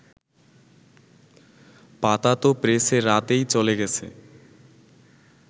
পাতা তো প্রেসে রাতেই চলে গেছে